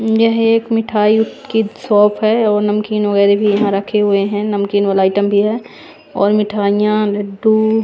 यह एक मिठाई की शॉप है और नमकीन वगैरह भी यहां रखे हुए हैं नमकीन वाला आइटम भी है और मिठाइयां लड्डू--